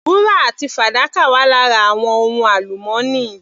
Wúrà àti fàdákà wà lára àwọn ohun alumọ́nì.